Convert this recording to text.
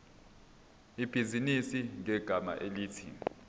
ibhizinisi ngegama elithi